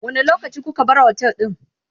wani lokaci kuka bar otel ɗin?